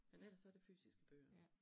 Men ellers så det fysiske bøger